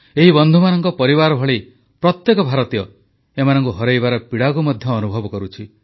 ଏହି ବନ୍ଧୁମାନଙ୍କ ପରିବାର ଭଳି ପ୍ରତ୍ୟେକ ଭାରତୀୟ ଏମାନଙ୍କୁ ହରାଇବାର ପୀଡ଼ାକୁ ମଧ୍ୟ ଅନୁଭବ କରୁଛି